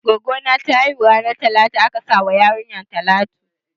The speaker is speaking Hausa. Gwaggo na ta haihu ranan talata aka sa wa yarinyar talatu.